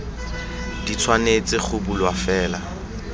di tshwanetse go bulwa fela